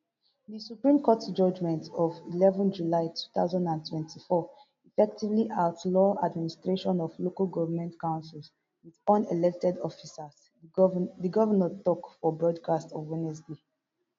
di supreme court judgment of eleven july two thousand and twenty-four effectively outlaw administration of local goment councils wit unelected officers di govnor tok for broadcast on wednesday